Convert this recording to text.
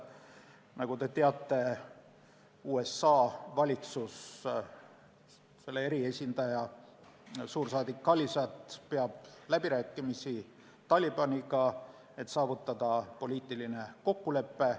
Nagu te teate, USA valitsuse eriesindaja, suursaadik Khalilzad peab läbirääkimisi Talibaniga, et saavutada poliitiline kokkulepe.